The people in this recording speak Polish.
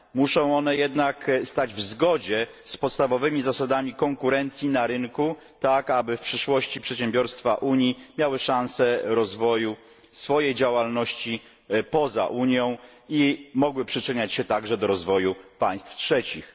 Muszą one jednak stać w zgodzie z podstawowymi zasadami konkurencji na rynku, tak aby w przyszłości przedsiębiorstwa Unii miały szansę rozwoju swojej działalności poza Unią i mogły przyczyniać się także do rozwoju państw trzecich.